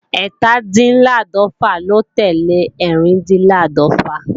Ẹ́tàdínláàdọ̀fà ló tẹ́lẹ̀ Ẹ́rìndínláàdọ́fà